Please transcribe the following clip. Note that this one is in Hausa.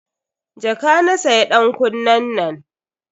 Jaka na siya dankunnen.